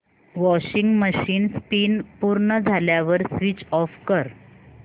washing machine spin पूर्ण झाल्यावर switch off कर